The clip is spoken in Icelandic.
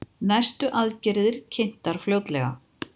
Næstu aðgerðir kynntar fljótlega